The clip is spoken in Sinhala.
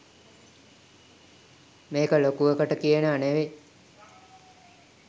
මේක ලොකුවකට කියනවා නෙවෙයි